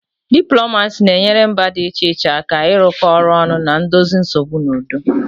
Diplomacy na-enyere mba dị iche iche aka ịrụkọ ọrụ ọnụ na dozie nsogbu n'udo